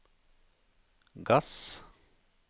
gass